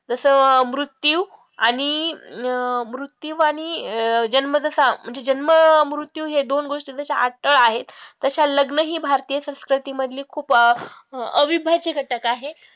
जसं मृत्यू आणि अं मृत्यू आणि अं जन्म जसा म्हणजे जन्म, मृत्यू हे दोन गोष्टी जश्या अटळ आहे तश्या लग्न ही भारतीय संस्कृती मधली खूप अविभाज्य घटक आहे तर